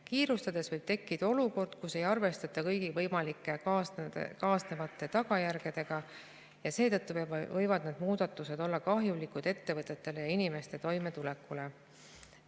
Kiirustamise korral võib tekkida olukord, kus ei arvestata kõigi võimalike kaasnevate tagajärgedega, ja seetõttu võivad need muudatused olla kahjulikud ettevõtetele ja inimeste toimetulekule.